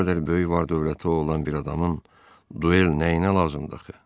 Bu qədər böyük var-dövləti olan bir adamın duel nəyinə lazımdır axı.